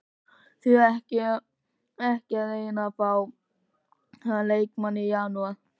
Því ekki að reyna að fá þennan leikmann í janúar?